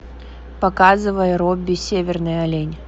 показывай робби северный олень